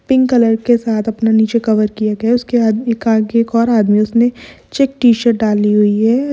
pink colour के साथ अपना नीचे कवर किया गया है उसके हाथ में एक और आदमी है उसने चेक टी-शर्ट डाली हुई है |